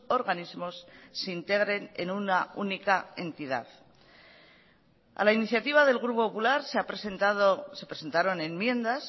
organismos se integren en una única entidad a la iniciativa del grupo popular se ha presentado se presentaron enmiendas